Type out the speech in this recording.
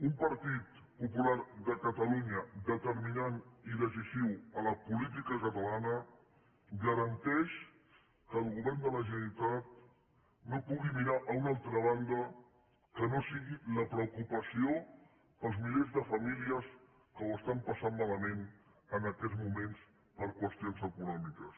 un partit popular de catalunya determinant i decisiu en la política catalana garanteix que el govern de la generalitat no pugui mirar a una altra banda que no sigui la preocupació pels milers de famílies que ho estan passant malament en aquests moments per qüestions econòmiques